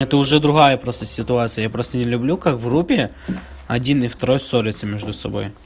это уже другая просто ситуация я просто не люблю как в группе один и второй ссорятся между собой